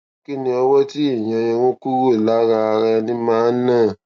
kí ni owó tí ìyọn irun kúrò lára ara ẹni máa ná